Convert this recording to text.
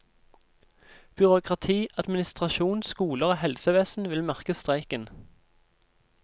Byråkrati, administrasjon, skoler og helsevesen vil merke streiken.